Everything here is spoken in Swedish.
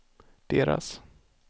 deras